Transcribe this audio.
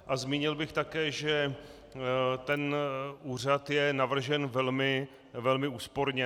A zmínil bych také, že ten úřad je navržen velmi úsporně.